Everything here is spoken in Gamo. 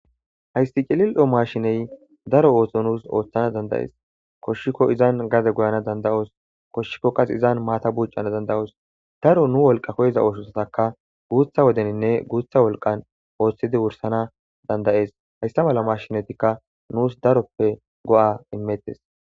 Haysti cilil'o maashiney daro oohso nuus ooththana dandayees koshshikko izan gaze goyana danda'os koshshikko qas izan maata buucana danda'oos daro nu wolqa koyiza ooshosataka guutha wodeninne guutha wolqan ooththidi wursana dandayees hayssa mala mashinatikka nuus daroppe go'a imettes.